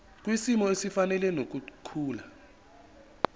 kwisimo esifanele nokukhula